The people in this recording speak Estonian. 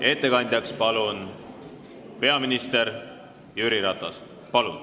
Ettekandeks kutsun kõnetooli peaminister Jüri Ratase.